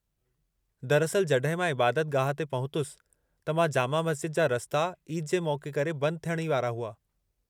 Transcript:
दरअसलि जॾहिं मां इबादत गाहु ते पहुतुसि त जामा मस्ज़िद जा रस्ता ईद जे मौक़े करे बंदि थियणु ई वारा हुआ।